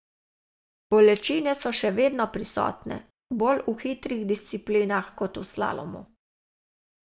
Bolečine so še vedno prisotne, bolj v hitrih disciplinah kot v slalomu.